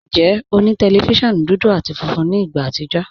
Njẹ́, ọ ni tẹlifíṣíọ̀nù dúdú àti fúnfún ní ìgbà àtìjọ̀?